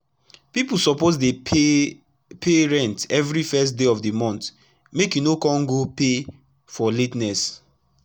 pipu suppose dey pay pay rent everi first day of d month make e no kon go pay for la ten ess